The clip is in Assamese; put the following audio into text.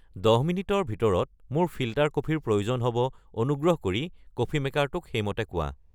দহ মিনিটৰ ভিতৰত মোৰ ফিল্টাৰ কফিৰ প্ৰয়োজন হ'ব অনুগ্ৰহ কৰি কফি মেকাৰটোক সেইমতে কোৱা